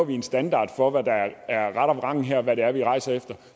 vi en standard for hvad der er ret og vrang her altså hvad det er vi rejser efter